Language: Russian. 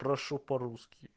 прошу по-русски